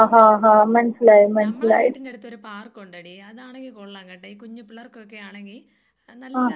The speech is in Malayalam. നമ്മളെ വീടിന്റടുത്തൊഒരു പാർക്കുണ്ടെടീ അതാണെങ്കി കൊള്ളാം കെട്ടോ ഈ കുഞ്ഞു പിള്ളേർക്കൊക്കെയാണെങ്കി ആ നല്ല നേരം പോവും.